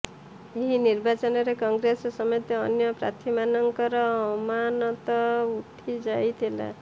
ଏହି ନିର୍ବାଚନରେ କଂଗ୍ରେସ ସମେତ ଅନ୍ୟ ପ୍ରାର୍ଥୀମାନଙ୍କର ଅମାନତ ଉଡିଯାଇଥିଲା